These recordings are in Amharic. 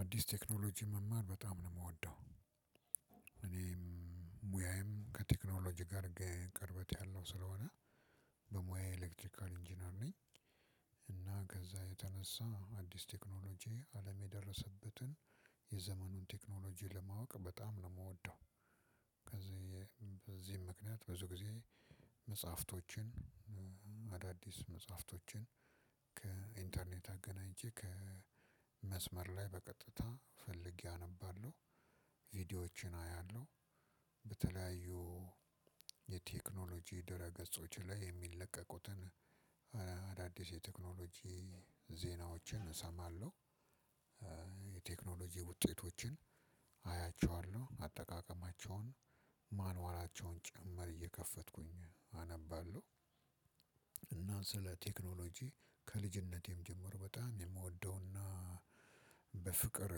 አዲስ ቴክኖሎጂ መማር በጣም ነው የምወደው። እኔም ሙያዬም ከቴክኖሎጂ ጋር ቅርበት ያለው ስለሆነ በሙያየ ኤሌክትሪካል ኢንጂነር ነኝ። እና ከዛ የተነሳ አዲስ ቴክኖሎጂ አለም የደረሰበትን የዘመኑን ቴክኖሎጂ ለማወቅ በጣም ነው የምወደው። ከዚህ በዚህም ምክንያት ብዙ ጊዜ መጽሐፍቶችን አዳዲስ መጽሐፍቶችን ከኢንተርኔት አገናኝቼ ከመስመር ላይ በቀጥታ ፈልጌ አነባለሁ ቪዲዮዎችን አያለሁ በተለያዩ የቴክኖሎጂ ድረ ገጾች ላይ የሚለቀቁትን አዳዲስ የቴክኖሎጂ ዜናዎችን እሰማለሁ። የቴክኖሎጂ ውጤቶችን አያቸዋለሁ አጠቃቀማቸውን ማንዋላቸውን ጭምር እየከፈትኩኝ አነባለሁ። እና ስለ ቴክኖሎጂ ከልጅነቴም ጀምሮ በጣም የምወደውና በፍቅር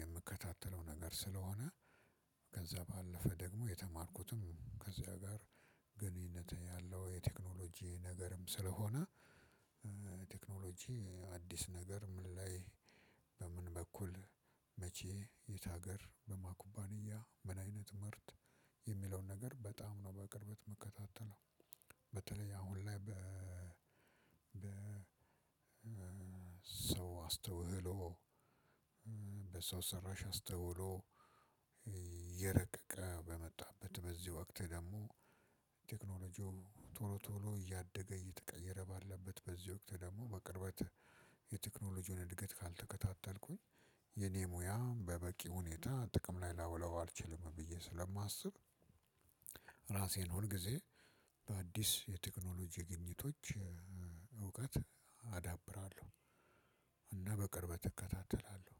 የምከታተለው ነገር ስለሆነ ከዛ ባለፈ ደግሞ የተማርኩትም ከዚያ ጋር ግንኙነት ያለው የቴክኖሎጂ ነገርም ስለሆነ። ቴክኖሎጂ አዲስ ነገር ምን ላይ በምን በኩል መቼ የት ሀገር በማን ኩባንያ ምን አይነት ምርት የሚለውን ነገር በጣም ነው በቅርበት የምከታተለው። በተለይ አሁን ላይ በ ሰው አስተውሎ በሰው ሰራሽ አስተውሎ እየረቀቀ በመጣበት በዚህ ወቅት ደግሞ ቶሎ ቶሎ እያደገ እየተቀየረ ባለበት በዚህ ወቅት ደግሞ በቅርበት የቴክኖሎጂውን እድገት ካልተከታተልኩኝ የኔ ሙያ በበቂ ሁኔታ ጥቅም ላይ ላውለው አልችልም ብዬ ስለማስብ። ራሴን ሁልጊዜ በአዲስ የተክኖሎጂ ግኝቶች እውቀት አዳብራለሁ። እና በቅርበት እከታተላለሁ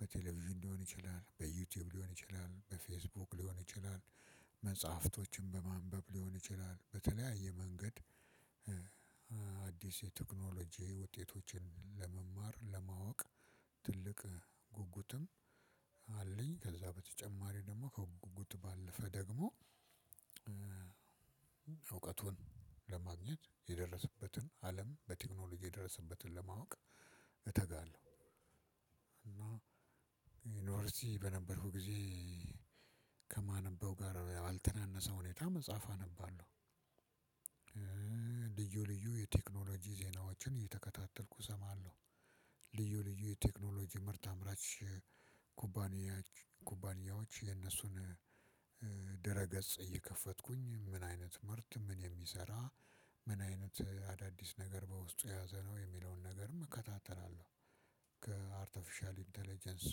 በቴሌቪዥን ሊሆን ይችላል በዩቲዩብ ሊሆን ይችላል በፌስቡክ ሊሆን ይችላል መጽሐፍቶችን በማንበብ ሊሆን ይችላል በተለያየ መንገድ። አዲስ የቴክኖሎጂ ውጤቶችን ለመማር ለማወቅ ትልቅ ጉጉትም አለኝ ከዛ በተጨማሪ ደግሞ ከጉጉት ባለፈ ደግሞ እውቀቱን ለማግኘት የደረሰበትን አለም በቴክኖሎጂ የደረሰበትን ለማወቅ እተጋለሁ። እና ዩንቨርስቲ በነበርኩ ጊዜ ከማነበው ጋር አልተናነሰ ሁኔታ መጽሐፍ አነባለሁ። ልዩ ልዩ የቴክኖሎጂ ዜናዎችን እየተከታተልኩ እሰማለሁ። ልዩ ልዩ የቴክኖሎጂ ምርት አምራች ኩባንያ ኩባንያዎች የነሱን ድረ ገጽ እየከፈትኩኝ ምን አይነት ምርት ምን የሚሰራ ምን አይነት አዳዲስ ነገር በውስጡ የያዘነው የሚለውን ነገርም እከታተላለሁ። ከአርተፊሻል ኢንተለጀንስ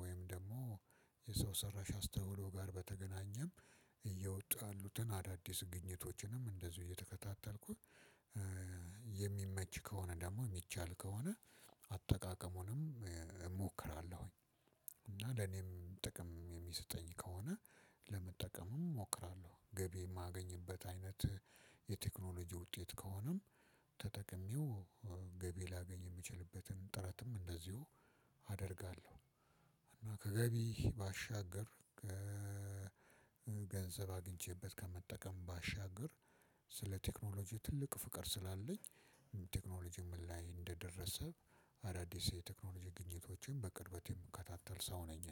ወይም ደግሞ የሰው ሰራሽ አስተውሎ ጋር በተገናኘም እየወጡ ያሉትን አዳዲስ ግኝቶችንም እንደዚሁ እየተከታተልኩኝ። የሚመች ከሆነ ደግሞ ምቻል ከሆነ አጠቃቀሙንም ሞክራለሁ እና ለኔም ጥቅም የሚሰጠኝ ከሆነ ለመጠቀምም እሞክራለሁ ገቢ የማገኝበት አይነት የቴክኖሎጂ ውጤት ከሆነም ተጠቅሜው ገቢ ላገኝ የምችልበትን ጥረትም እንደዚሁ አደርጋለሁ። እና ከገቢ ባሻገር ገንዘብ አግኝቼበት ከመጠቀም ባሻገር ስለ ቴክኖሎጂ ትልቅ ፍቅር ስላለኝ ቴክኖሎጂው ምን ላይ እንደደረሰ አዳዲስ የተክኖሎጂ ግኝቶችን በቅርበት የሚከታተል ሰው ነኝ።